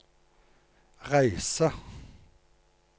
reise